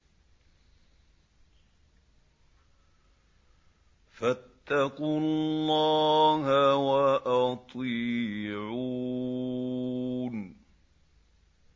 فَاتَّقُوا اللَّهَ وَأَطِيعُونِ